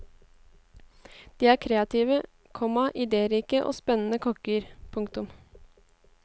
De er kreative, komma idérike og spennende kokker. punktum